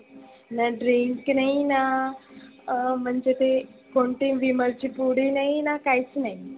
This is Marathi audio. की नाहीना. अं म्हणजे ते कोणती विमलची पुडी नाही ना काहीच नाही.